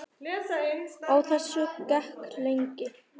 Á þessu gekk lengi.